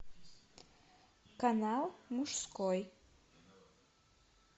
канал мужской